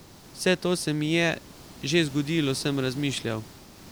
Vse to se mi je že zgodilo, sem razmišljal.